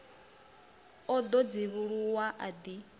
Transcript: o ḓo dzivhuluwa a ḓi